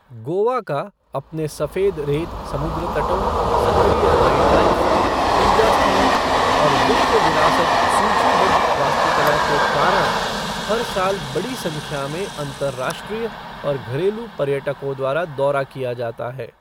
गोवा का अपने सफ़ेद रेत समुद्र तटों, सक्रिय नाइटलाइफ़, पूजा स्थलों और विश्व विरासत सूचीबद्ध वास्तुकला के कारण हर साल बड़ी संख्या में अंतरराष्ट्रीय और घरेलू पर्यटकों द्वारा दौरा किया जाता है।